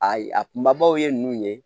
A ye a kunbabaw ye ninnu ye